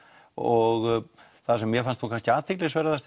og það sem mér fannst kannski athyglisverðast